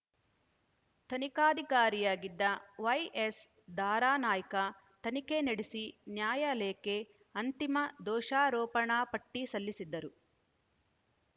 ತನಿಖಾಧಿಕಾರಿಯಾಗಿದ್ದ ವೈಎಸ್‌ ದಾರಾನಾಯ್ಕ ತನಿಖೆ ನಡೆಸಿ ನ್ಯಾಯಾಲಯಕ್ಕೆ ಅಂತಿಮ ದೋಷಾರೋಪಣಾಪಟ್ಟಿಸಲ್ಲಿಸಿದ್ದರು